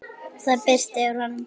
Það birti yfir honum.